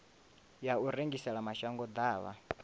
ya u rengisela mashango ḓavha